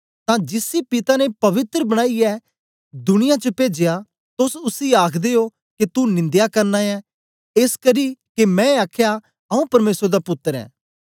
तां जिसी पिता ने पवित्र बनाईयै दिनिया च पेजया तोस उसी आखदे ओ के तू निंदया करना ऐं एसकरी के मैं आखया आऊँ परमेसर दा पुत्तर ऐं